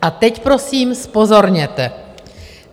A teď prosím zpozorněte.